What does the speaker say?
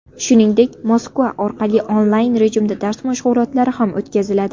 Shuningdek, Moskva orqali onlayn rejimda dars mashg‘ulotlari ham o‘tkaziladi.